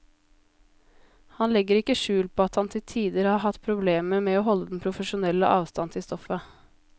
Han legger ikke skjul på at han til tider har hatt problemer med å holde den profesjonelle avstand til stoffet.